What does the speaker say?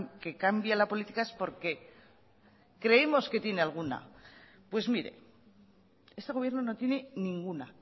que cambie la política es porque creemos que tiene alguna pues mire este gobierno no tiene ninguna